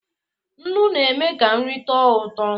Nnu na-eme ka nri tọọ ụtọ.